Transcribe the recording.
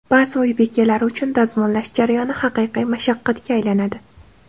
Ba’zi uy bekalari uchun dazmollash jarayoni haqiqiy mashaqqatga aylanadi.